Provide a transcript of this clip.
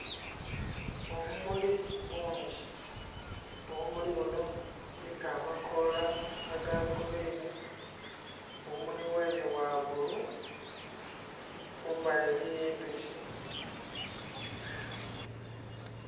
Obumuli bungi, obumuli buno buliku amakoola aga gulwini obumuli bweene bwa bbulu kumbali eriyo endhuki.